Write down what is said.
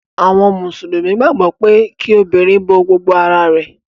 Àwọn mùsùlùmí gbàgbó pe kí obìrin bó gbogbo àrà